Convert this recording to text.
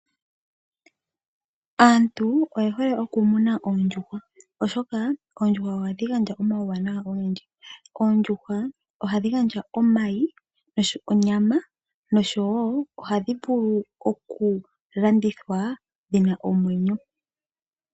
Aantu oye hole okumuna oondjuhwa oshoka oondjuhwa ohadhi gandja omauwanawa ogendji. Oondjuhwa ohadhi gandja omayi, onyama nosho wo ohadhi vulu okulandithwa dhina omwenyo.